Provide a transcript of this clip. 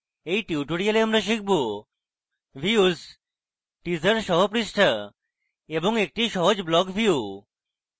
in tutorial শিখব: views teaser সহ পৃষ্ঠা এবং একটি সহজ block view